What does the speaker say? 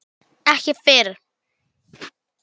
Ekki fyrr.